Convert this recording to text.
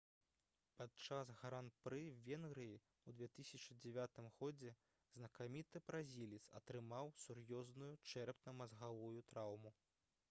падчас гран-пры венгрыі ў 2009 годзе знакаміты бразілец атрымаў сур'ёзную чэрапна-мазгавую траўму